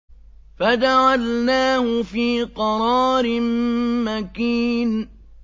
فَجَعَلْنَاهُ فِي قَرَارٍ مَّكِينٍ